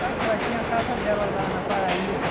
sabe? Porque ela tinha a casa dela lá na Paraíba.